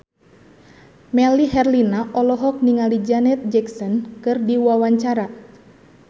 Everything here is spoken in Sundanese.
Melly Herlina olohok ningali Janet Jackson keur diwawancara